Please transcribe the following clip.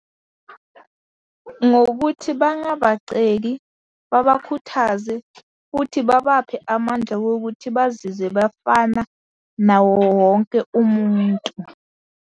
Ngokuthi bangabaceki babakhuthaze, futhi babaphe amandla wokuthi bazizwe bafana nawowonke umuntu.